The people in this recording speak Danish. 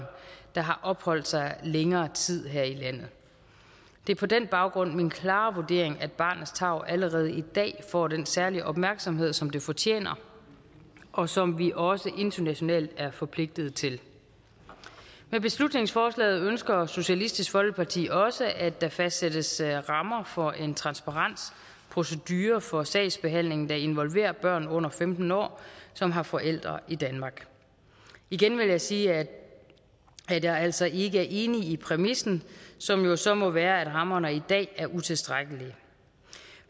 der har opholdt sig længere tid her i landet det er på den baggrund min klare vurdering at barnets tarv allerede i dag får den særlige opmærksomhed som det fortjener og som vi også internationalt er forpligtet til med beslutningsforslaget ønsker socialistisk folkeparti også at der fastsættes rammer for en transparent procedure for sagsbehandlingen der involverer børn under femten år som har forældre i danmark igen vil jeg sige at jeg altså ikke er enig i præmissen som jo så må være at rammerne i dag er utilstrækkelige